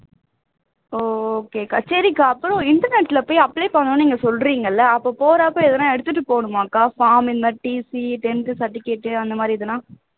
okay க்கா சரிக்கா அப்போ internet ல போய் apply பண்ணனும்னு நீங்க சொல்றீங்க இல்ல அப்போ போறப்ப ஏதாவது எடுத்துட்டு போகனுமா அக்கா form TC tenth certificate அந்த மாதிரி இதெல்லாம்